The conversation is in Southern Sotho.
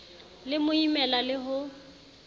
le mo imela le ho